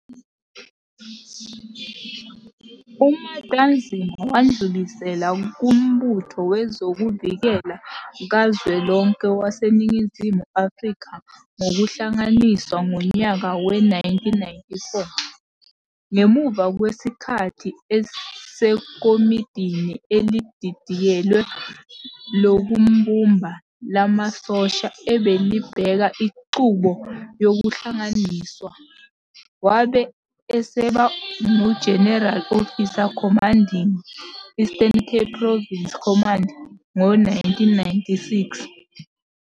UMatanzima wadlulisela kuMbutho Wezokuvikela Kazwelonke waseNingizimu Afrika ngokuhlanganiswa ngonyaka we-1994. Ngemuva kwesikhathi eseKomidini eliDidiyelwe Lokubumbana Lamasosha ebelibheka inqubo yokuhlanganiswa, wabe eseba nguGeneral Officer Commanding Eastern Province Command ngo-1996.